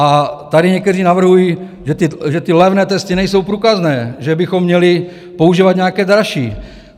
A tady někteří navrhují, že ty levné testy nejsou průkazné, že bychom měli používat nějaké dražší.